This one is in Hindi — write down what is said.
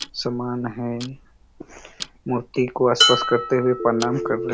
सामान हैं मूर्ति को स्पर्श करते हुए प्रणाम कर रहे--